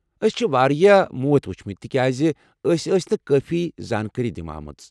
أسۍ چھ واریاہ موت وچھمٕتۍ تکیاز أسۍ ٲسۍ نہٕ کٲفی زانٛکٲری دنہٕ آمٕژ۔